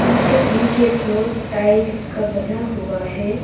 इनका इनके floor tiles का बना हुआ हैं।